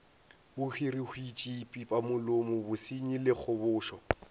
bohwirihwitši pipamolomo bosenyi le kgobošo